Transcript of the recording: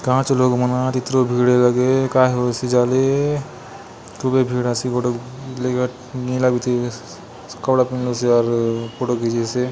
कहाँ चो लोग मन आत इतरो भीड़ ए लगे काय होयसे जाले खूबे भीड़ आसे गोटोक लेका नीला बीती कपड़ा पिँधलोसे अउर फोटो खिचेसे।